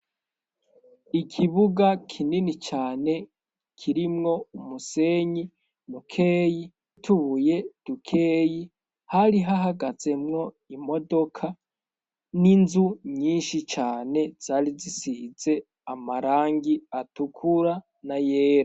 Ikibuga kinini cane kirimwo umusenyi mukeyi nutubuye dukeyi hari hahagazemwo imodoka n'inzu nyinshi cane zari zisize amarangi atukura na yera.